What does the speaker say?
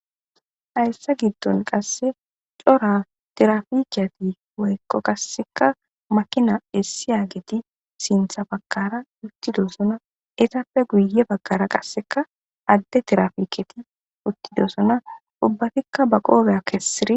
hayssa giddon qasse cora terafikiyati woykko qasseka makina essiya geti sintha bakara uttidosona etappe guye baggara qasseka adde terafiketi uttidosona ubbatikka ba qoobeya kessiri